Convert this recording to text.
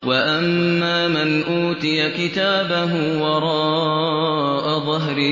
وَأَمَّا مَنْ أُوتِيَ كِتَابَهُ وَرَاءَ ظَهْرِهِ